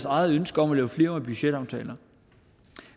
eget ønske om at lave flerårige budgetaftaler